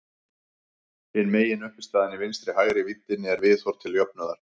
Hin meginuppistaðan í vinstri-hægri víddinni er viðhorf til jöfnuðar.